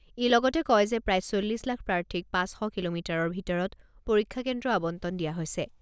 ই লগতে কয় যে প্ৰায় চল্লিছ লাখ প্ৰাৰ্থীক পাঁচ শ কিলোমিটাৰৰ ভিতৰত পৰীক্ষা কেন্দ্ৰ আবণ্টন দিয়া হৈছে।